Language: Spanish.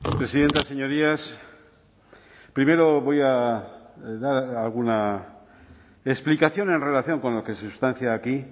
presidenta señorías primero voy a dar alguna explicación en relación con lo que se sustancia aquí